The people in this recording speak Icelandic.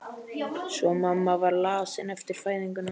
Svo mamma var lasin eftir fæðinguna.